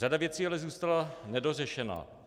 Řada věcí ale zůstala nedořešena.